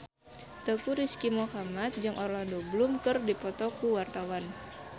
Teuku Rizky Muhammad jeung Orlando Bloom keur dipoto ku wartawan